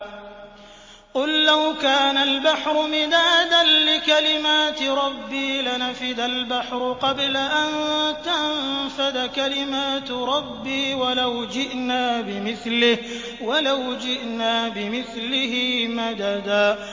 قُل لَّوْ كَانَ الْبَحْرُ مِدَادًا لِّكَلِمَاتِ رَبِّي لَنَفِدَ الْبَحْرُ قَبْلَ أَن تَنفَدَ كَلِمَاتُ رَبِّي وَلَوْ جِئْنَا بِمِثْلِهِ مَدَدًا